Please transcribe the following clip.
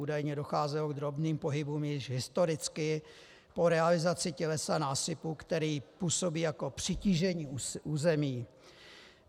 Údajně docházelo k drobným pohybům již historicky po realizaci tělesa násypu, který působí jako přitížení území.